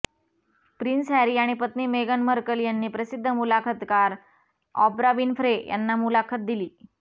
prince Harry आणि पत्नी मेगन मर्कल यांनी प्रसिद्ध मुलाखतकार ऑप्रा विन्फ्रे यांना मुलाखत दिली